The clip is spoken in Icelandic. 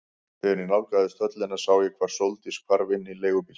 Þegar ég nálgaðist höllina sá ég hvar Sóldís hvarf inn í leigubíl.